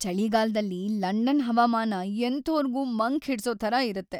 ಚಳಿಗಾಲ್ದಲ್ಲಿ London ಹವಾಮಾನ ಎಂಥೋರ್ಗೂ ಮಂಕ್‌ ಹಿಡ್ಸೋ ಥರ ಇರತ್ತೆ.